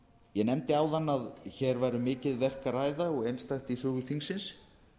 ég nefndi áðan að hér væri um mikið verk að ræða og einstætt í sögu þingsins